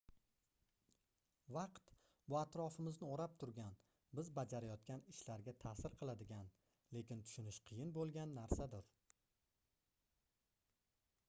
vaqt bu atrofimizni oʻrab turgan biz bajarayotgan ishlarga taʼsir qiladigan lekin tushunish qiyin boʻlgan narsadir